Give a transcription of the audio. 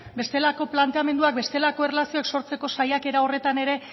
bestelako planteamenduak bestelako erlazioak sortzeko saiakera horretan ere